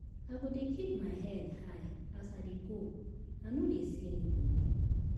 I go dey keep my head high as I dey go, I no dey see anybodi.